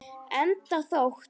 Enda þótt